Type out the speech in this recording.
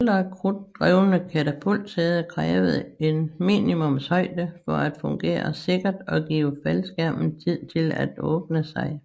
Ældre krudtdrevne katapultsæder krævede en minimumshøjde for at fungere sikkert og give faldskærmen tid til at åbne sig